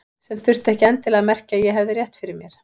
Sem þurfti ekki endilega að merkja að ég hefði rétt fyrir mér.